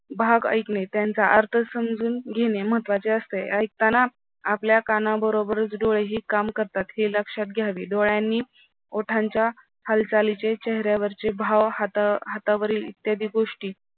भाग ऐकणे त्यांचा अर्थ समजून घेणे महत्त्वाचे असते ऐकताना आपल्या कानाबरोबर डोळेही काम करतात हे लक्षात घ्यावी डोळ्यांनी ओठांच्या हालचालीचे चेहऱ्यावरचे भाव हाता हातावरील इत्यादी गोष्टी